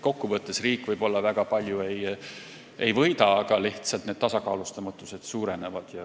Kokku võttes riik võib-olla väga palju ei võida, aga lihtsalt tasakaalustamatus suureneb.